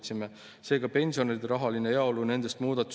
Küsimus on, kuidas need eelnõud üksteist toetavad või vastu käivad.